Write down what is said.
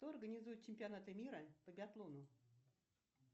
кто организует чемпионаты мира по биатлону